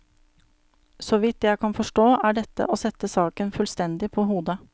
Så vidt jeg kan forstå, er dette å sette saken fullstendig på hodet.